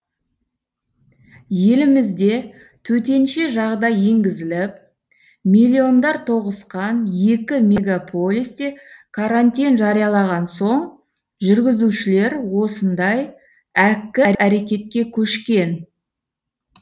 елімізде төтенше жағдай енгізіліп миллиондар тоғысқан екі мегаполисте карантин жариялаған соң жүргізушілер осындай әккі әрекетке көшкен